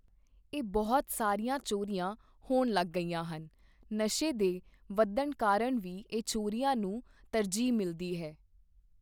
ਇਹ ਬਹੁਤ ਸਾਰੀਆਂ ਚੋਰੀਆਂ ਹੋਣ ਲੱਗ ਗਈਆਂ ਹਨ ਨਸ਼ੇ ਦੇ ਵੱਧਣ ਕਾਰਨ ਵੀ ਇਹ ਚੋਰੀਆਂ ਨੂੰ ਤਰਜੀਹ ਮਿਲਦੀ ਹੈ।